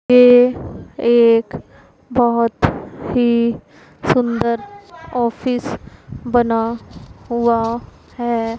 ये एक बहोत ही सुंदर ऑफिस बना हुआ है।